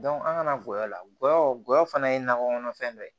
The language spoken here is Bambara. an kana gɔyɔ la gɔyɔ gɔyɔ fana ye nakɔ kɔnɔfɛn dɔ ye